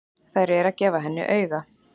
Þær eru að gefa henni auga.